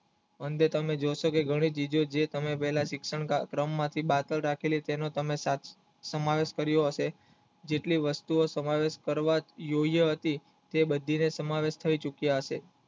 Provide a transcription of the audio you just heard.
અંતે તમે જીવશો કે ઘણી ચીજે જે તમે પેલા ક્રમમાં થી પાછળ રાખેલી જેટલી વસ્તુઓ ઓયે હતી જે બદલીને તમારે થઈ ચુક્યા હશે